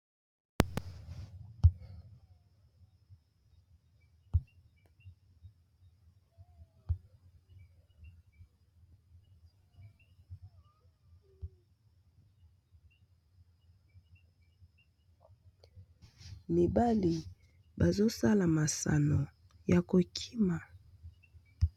Mibali bazosala masano ya kokima.